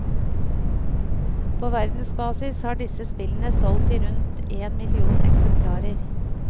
På verdensbasis har disse spillene solgt i rundt en million eksemplarer.